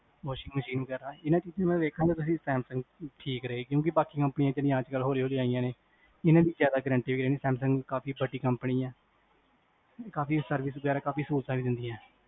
washing machine ਵਗੇਰਾ, ਇੰਨਾ ਚੀਜਾਂ ਨੂੰ ਮੈਂ ਵੇਖਾ, ਤਾ ਤੁਸੀਂ ਦੇਖੋ ਤਾ ਸੈਮਸੰਗ ਠੀਕ ਰਹੇਗੀ ਕਿਉਕਿ ਬਾਕੀ companies ਹੋਲੀ ਹੋਲੀ ਆਇਆ ਨੇ ਤੇ ਇਨ੍ਹਾਂ ਦੀ ਜ਼ਿਆਦਾ guarntee ਨੀ ਸੈਮਸੰਗ ਵੱਡੀ company ਹੈ, ਕਾਫੀ servive ਵੀ ਦਿੰਦੀ ਨੇ ਕਾਫੀ ਸਹੂਲਤਾਂ ਵੀ ਦਿੰਦੀ ਹੈ